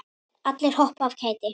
Allir hoppa af kæti.